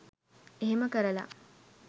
එහෙම කරලා